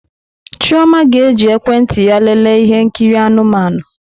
Chioma ga-eji ekwentị ya lelee ihe nkiri anụmanụ.